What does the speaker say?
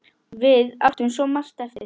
Við áttum svo margt eftir.